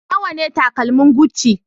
Nawa ne takalmin Gucci?